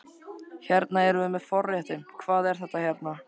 Hérna erum við með forréttinn, hvað er þetta hérna?